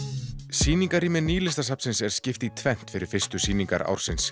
sýningarrými Nýlistasafnsins er skipt í tvennt fyrir fyrstu sýningar ársins